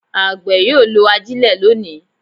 Àgbẹ̀ yóò lo ajile lónìí.